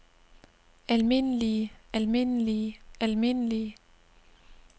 almindelige almindelige almindelige